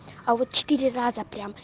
а вот четыре раза прям